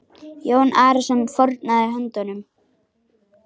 Jón Arason fórnaði höndum.